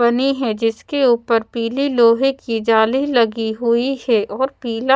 बनी है जिसके ऊपर पीले लोहे की जाली लगी हुई है और पीला--